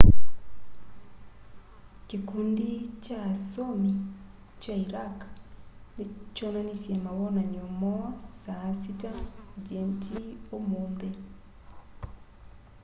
kĩkũndĩ kya asomĩ kya ĩraq kyonanĩsye mawonanyo moo saa 12.00 gmt ũmũnthĩ